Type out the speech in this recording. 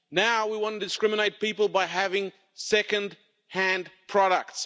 Now we want to discriminate people by having second-hand products.